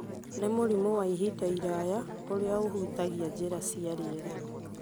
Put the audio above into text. nĩ mũrimũ wa ihinda iraya ũrĩa ũhutagia njĩra cia rĩera.